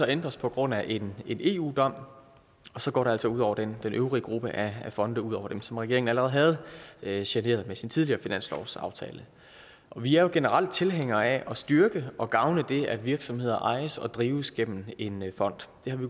ændres på grund af en en eu dom og så går det altså ud over den øvrige gruppe af fonde ud over dem som regeringen allerede havde havde generet med sin tidligere finanslovsaftale vi er generelt tilhængere af at styrke og gavne det at virksomheder ejes og drives gennem en fond det har vi